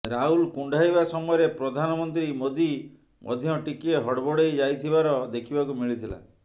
ରାହୁଲ କୁଣ୍ଢାଇବା ସମୟରେ ପ୍ରଧାନମନ୍ତ୍ରୀ ମୋଦି ମଧ୍ୟ ଟିକିଏ ହଡବଡେଇ ଯାଇଥିବାର ଦେଖିବାକୁ ମିଳିଥିଲା